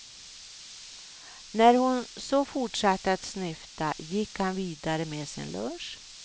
När hon så fortsatte att snyfta, gick han vidare med sin lunch.